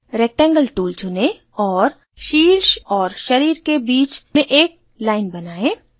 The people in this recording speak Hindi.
rectangle tool चुनें और शीर्ष और शरीर के बीच में एक line बनाएं